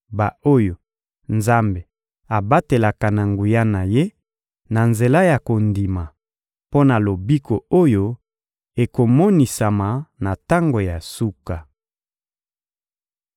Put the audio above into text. ba-oyo Nzambe abatelaka na nguya na Ye, na nzela ya kondima, mpo na lobiko oyo ekomonisama na tango ya suka.